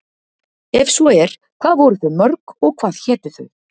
Ef svo er, hvað voru þau mörg og hvað hétu þau?